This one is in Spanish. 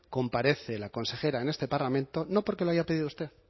comparece la consejera en este parlamento no porque lo haya tenido usted